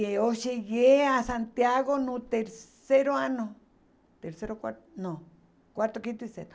E eu cheguei a Santiago no terceiro ano, terceiro, quarto, não, quarto, quinto e sexto.